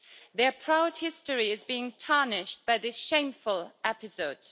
Their proud history is being tarnished by this shameful episode.